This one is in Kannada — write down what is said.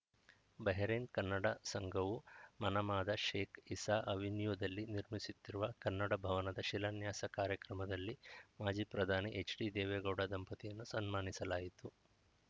ಬಹರೇನ್‌ ಕನ್ನಡ ಸಂಘವು ಮನಾಮಾದ ಶೇಖ್‌ ಇಸಾ ಅವೆನ್ಯೂದಲ್ಲಿ ನಿರ್ಮಿಸುತ್ತಿರುವ ಕನ್ನಡ ಭವನದ ಶಿಲಾನ್ಯಾಸ ಕಾರ್ಯಕ್ರಮದಲ್ಲಿ ಮಾಜಿ ಪ್ರಧಾನಿ ಎಚ್‌ಡಿದೇವೇಗೌಡ ದಂಪತಿಯನ್ನು ಸನ್ಮಾನಿಸಲಾಯಿತು